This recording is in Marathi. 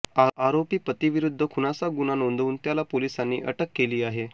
आरोपी पतीविरुध्द खूनाचा गुन्हा नोंदवून त्याला पोलिसांनी अटक केली आहे